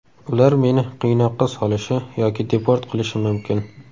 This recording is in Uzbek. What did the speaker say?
Ular meni qiynoqqa solishi yoki deport qilishi mumkin.